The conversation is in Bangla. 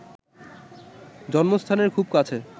জন্মস্থানের খুব কাছে